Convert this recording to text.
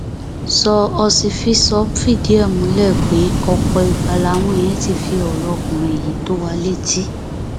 sọ ọsifísọ fìdí ẹ múlẹ pé ọpọ ìgbà làwọn èèyàn ti fi ọrọ ọkùnrin yìí tó wa létí